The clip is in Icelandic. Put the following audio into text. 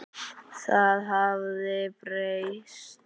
Það hafði breyst.